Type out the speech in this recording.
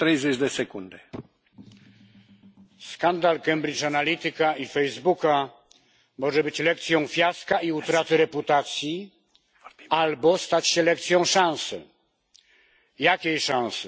Pani Przewodnicząca! Skandal Cambridge Analytica i Facebooka może być lekcją fiaska i utraty reputacji, albo stać się lekcją szansy. Jakiej szansy?